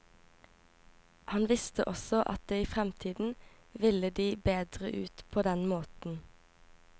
Han visste også at det i fremtiden ville de bedre ut på den måten.